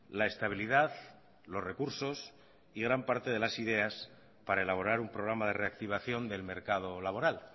la estabilidad los recursos y gran parte de las ideas para elaborar un programa de reactivación del mercado laboral